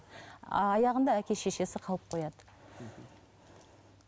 аяғында әке шешесі қалып қояды мхм